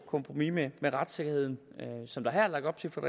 kompromis med retssikkerheden som der her er lagt op til fra